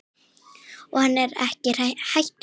Og hann er ekki hættur.